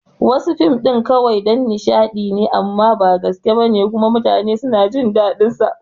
Wasu fim ɗin kawai dan nishadi amma ba gaske bane kuma mutanen suna jin dadin sa